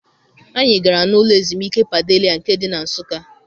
Anyị gara n'ụlọ ezumike Padelia nke dị na Nsụka.